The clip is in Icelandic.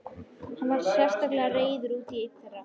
Hann var sérstaklega reiður út í einn þeirra.